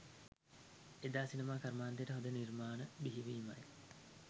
එදා සිනමා කර්මාන්තයට හොඳ නිර්මාණ බිහිවීමයි.